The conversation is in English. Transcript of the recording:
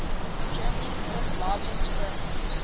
germany's fifth largest firm